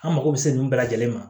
An mako bɛ se ninnu bɛɛ lajɛlen ma